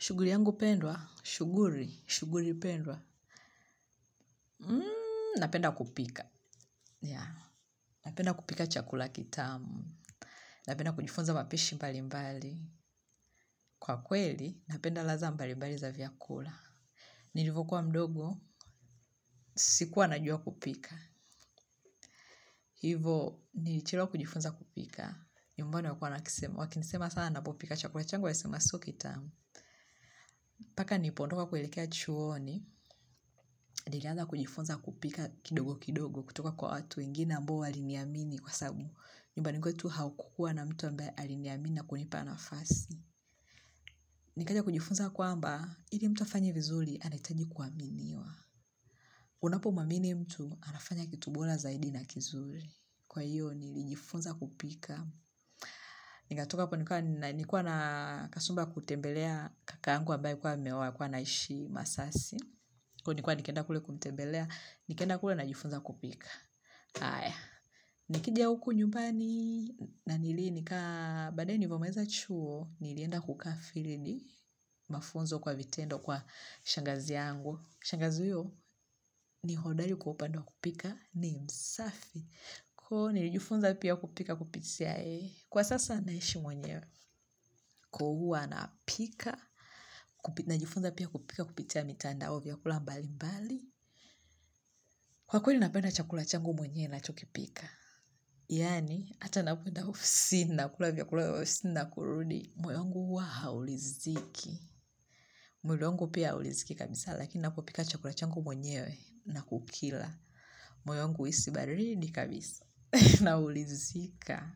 Shughuli yangu pendwa, shughuli, shughuli pendwa, napenda kupika. Napenda kupika chakula kitamu, napenda kujifunza mapishi mbalimbali. Kwa kweli, napenda ladha mbalimbali za vyakula. Nilivyokuwa mdogo, sikuwa najua kupika. Hivo, nilichelewa kujifunza kupika. Nyumbani walikua wanakisema, wakinisema sana ninapopika chakula changu wasema sio kitamu. Mpaka nilipoondoka kuelekea chuoni, nilianza kujifunza kupika kidogo kidogo kutoka kwa watu wengine ambao waliniamini kwasababu. Nyumbani kwetu haukua na mtu ambaye aliniamini na kunipa nafasi. Nikaja kujifunza kwamba, ili mtu afanye vizuri anahitaji kuaminiwa. Unapomwamini mtu, anafanya kitu bora zaidi na kizuri. Kwa hiyo, nilijifunza kupika. Nikatoka hapo nikawa, nilikuwa na kasumba ya kutembelea kaka yangu ambaye alikuwa ameoa, alikuwa anaishi masasi. Ko nilikuwa nikienda kule kumtembelea, nikienda kule najifunza kupika. Aya. Nikija huku nyumbani na nili nika baadae nilivyomaliza chuo, nilienda kukaa 'field', mafunzo kwa vitendo kwa shangazi yangu. Shangazi huyo ni hodari kwa upande wa kupika, ni msafi. Ko nilijifunza pia kupika kupitia yeye. Kwa sasa naishi mwenyewe, ko huwa napika najifunza pia kupika kupitia mitandao vyakula mbalimbali. Kwakweli, napenda chakula changu mwenyewe ninachokipika. Yani, hata ninapoenda ofisini, nakula vyakula vya ofisini na kurudi, moyo wangu huwa hauridhiki. Mwili wangu pia hauridhiki kabisa, lakini ninapopika chakula changu mwenyewe na kukila. Moyo wangu huhisi baridi kabisa, na huridhika.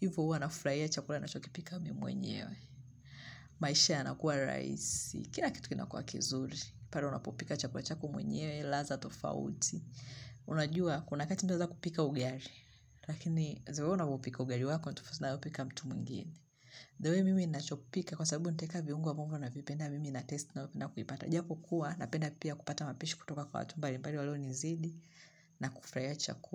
Hivyo huwa nafurahia chakula ninachokipika mi mwenyewe. Maisha yanakuwa rahisi, kila kitu kinakuwa kizuri. Pale unapopika chakula chako mwenyewe, ladha tofauti. Unajua kuna wakati unaweza kupika ugali, lakini the way unavyoupika ugali wako ni tofauti na napika mtu mwingine. The way mimi ninachopika kwasababu nitaweka viungo ambavyo navipenda, mimi natest na kuvipata japokuwa napenda pia kupata mapishi kutoka kwa watu mbalimbali walionizidi na kufurahia chakula.